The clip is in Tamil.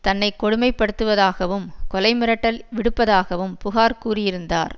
தன்னை கொடுமைப்படுத்துவதாகவும் கொலை மிரட்டல் விடுப்பதாகவும் புகார் கூறியிருந்தார்